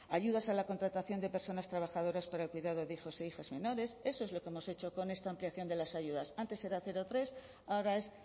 ayudas a la contratación de personas trabajadoras para el cuidado de hijos e hijas menores eso es lo que hemos hecho con esta ampliación de ayudas antes era cero tres ahora es